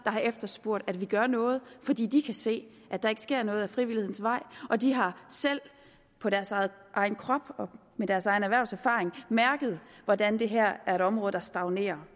har efterspurgt at vi gør noget fordi de kan se at der ikke sker noget ad frivillighedens vej de har selv på deres egen egen krop og med deres egen erhvervserfaring mærket hvordan det her er et område der stagnerer